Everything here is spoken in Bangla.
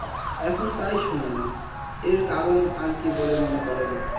আখন তাই শুন্য আর কারণ আর কি মনে করেন তাই বলেন